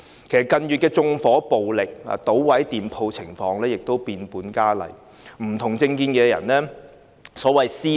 其實縱火暴力、搗毀店鋪的情況在近月變本加厲，更會對持不同政見的人作出所謂"私了"。